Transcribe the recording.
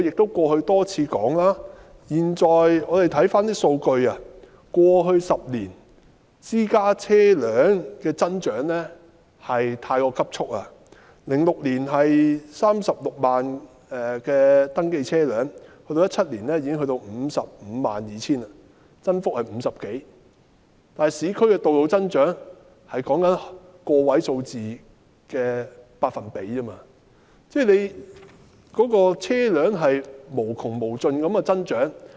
我過去曾多次指出，細看數據，過去10年私家車輛的增長太急速 ，2006 年有 360,000 部登記車輛，到了2017年已經上升至 552,000 部，增幅超過 50%， 但市區道路的增長只有個位數字的百分比，而車輛是無窮無盡的增長。